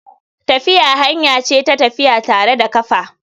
Tafiya hanya ce ta tafiya tare da kafa.